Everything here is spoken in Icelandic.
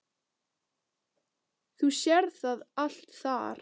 Þú sérð það allt þar.